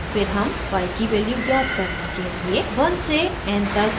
फिर हम y की वैल्यू ज्ञात करने के लिए 1 से n तक इटरेट करते हैं